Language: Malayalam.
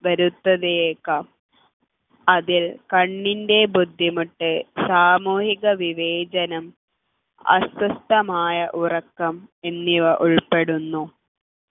വരുത്തിയേക്കാം അതിൽ കണ്ണിൻ്റെ ബുദ്ധിമുട്ട് സാമൂഹിക വിവേചനം അസ്വസ്ഥമായ ഉറക്കം എന്നിവ ഉൾപ്പെടുന്നു